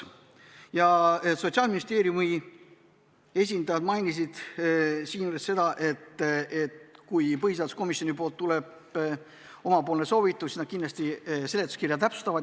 Ja Sotsiaalministeeriumi esindajad mainisid, et kui põhiseaduskomisjonist tuleb selline soovitus, siis nad kindlasti seletuskirja täpsustavad.